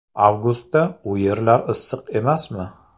Avgustda u yerlar issiq emasmi?